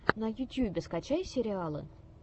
на ютюбе скачай сериалы